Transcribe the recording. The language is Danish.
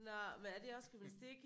Nå men er det også gymnastik?